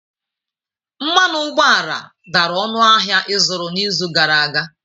Mmanụ ụgbọala dara ọnụ ahịa ịzụrụ n'izu gara aga.